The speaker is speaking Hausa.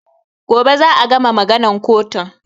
Gobe za a gama maganan kotun